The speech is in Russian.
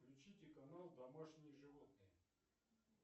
включите канал домашние животные